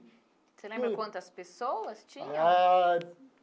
Você lembra quantas pessoas tinha? Ah.